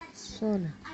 соль